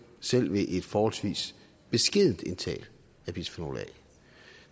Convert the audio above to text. selv ved et forholdsvis beskedent indtag af bisfenol a